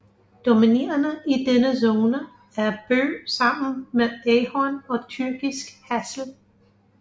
Dominerende i denne zone er bøg sammen med ahorn og tyrkisk hassel